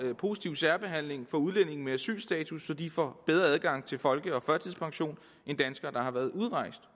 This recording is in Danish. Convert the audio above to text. positiv særbehandling af udlændinge med asylstatus så de får bedre adgang til folke og førtidspension end danskere der har været udrejst